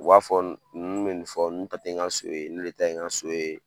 U b'a fɔ n nun bɛ nin fɔ n nun ta tɛ n ka so ye ne de ta ye n ka so ye.